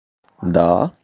даа